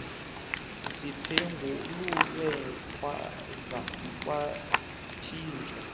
ziphengululwe kwaza kwathijwa